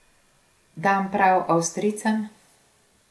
Dam prav avstrijcem ...